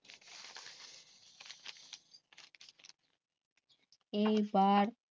এই বার